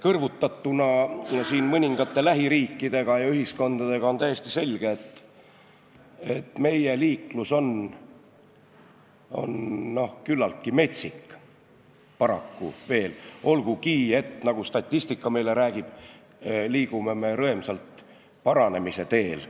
Kõrvutatuna mõningate lähiriikidega ja ühiskondadega on täiesti selge, et meie liiklus on paraku veel küllaltki metsik, olgugi et nagu statistika meile räägib, me liigume rõemsalt paranemise teel.